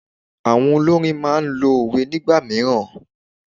Àwọn olórin máa n lo òwe nígbà mìíràn